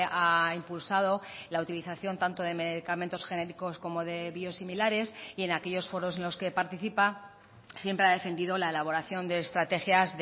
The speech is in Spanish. ha impulsado la utilización tanto de medicamentos genéricos como de biosimilares y en aquellos foros en los que participa siempre ha defendido la elaboración de estrategias